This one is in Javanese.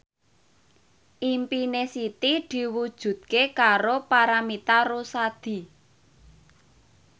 impine Siti diwujudke karo Paramitha Rusady